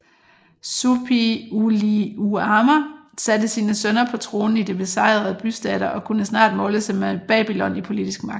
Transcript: Suppiliuliuma satte sine sønner på tronen i de besejrede bystater og kunne snart måle sig med Babylon i politisk magt